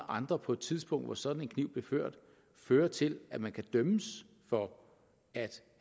andre på et tidspunkt hvor sådan en kniv blev ført fører til at man kan dømmes for